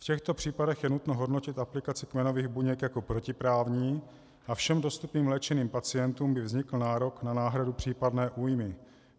V těchto případech je nutno hodnotit aplikaci kmenových buněk jako protiprávní a všem dostupným léčeným pacientům by vznikl nárok na náhradu případné újmy.